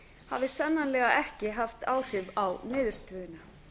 hafi sannarlega ekki haft áhrif á niðurstöðuna